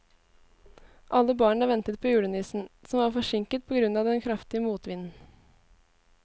Alle barna ventet på julenissen, som var forsinket på grunn av den kraftige motvinden.